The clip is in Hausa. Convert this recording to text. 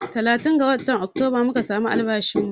Talatin ga watan Oktoba muka samu albashin mu